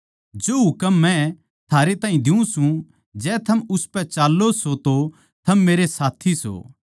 जो हुकम मै थारै ताहीं दियुँ सूं जै थम उसपै चाल्लों सों तो थम मेरे साथी सो